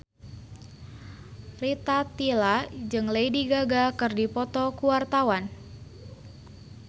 Rita Tila jeung Lady Gaga keur dipoto ku wartawan